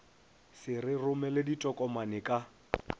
se re romele ditokomane ka